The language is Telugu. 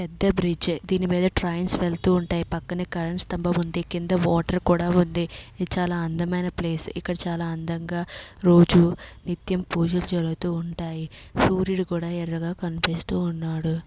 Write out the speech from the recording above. పెద్ద బ్రిడ్జ్ దీని మీద ట్రైన్స్ వెలుతూ ఉంటాయి. పక్కనే కరెంట్ స్తంభం ఉంది. కింద వాటర్ కూడా ఉంది. ఇది చాలా అందమైన ప్లేస్ . ఇక్కడ చాలా అందంగా రోజు నిత్యం పూజలు జరుగుతూ ఉంటాయి. సూర్యుడు కూడా ఎర్రగా కనిపిస్తూ ఉన్నాడు.